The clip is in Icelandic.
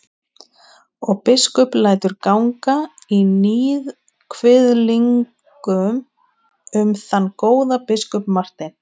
Og biskup lætur ganga í níðkviðlingum um þann góða biskup Martein.